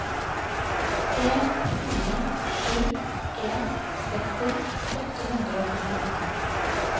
en fire sju en tretti åtte hundre og trettiåtte